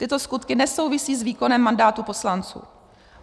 Tyto skutky nesouvisí s výkonem mandátu poslanců.